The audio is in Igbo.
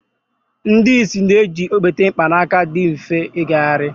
ndị ìsì na-eji okpete mkpanaka dị mfe ijegharị